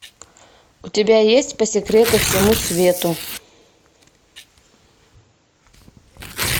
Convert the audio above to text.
у тебя есть по секрету всему свету